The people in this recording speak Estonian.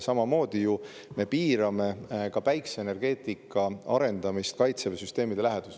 Samamoodi me piirame ka päikeseenergeetika arendamist Kaitseväe süsteemide läheduses.